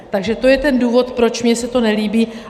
Takže to je ten důvod, proč mně se to nelíbí.